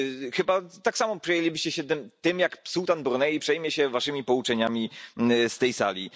Chyba tak samo przejęlibyście się tym, jak sułtan Brunei przejmie się Waszymi pouczeniami z tej sali.